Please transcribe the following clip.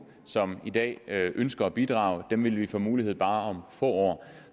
som i dag ønsker at bidrage det vil de få mulighed bare få år